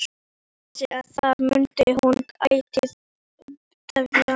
Vissi að þar mundi hún ætíð dvelja.